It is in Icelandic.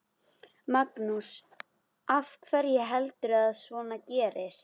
Magnús: Af hverju heldurðu að svona gerist?